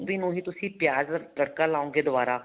ਗੋਭੀ ਨੂੰ ਹੀ ਤੁਸੀਂ ਪਿਆਜ ਦਾ ਤੜਕਾ ਲਾਓਂਗੇ ਦੁਆਰਾ